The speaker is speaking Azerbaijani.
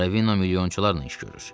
Ravino milyonçularla iş görür.